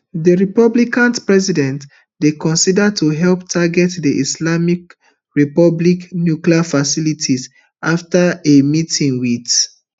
di republican president dey consider to help target di islamic republic nuclear facilities afta a meeting wit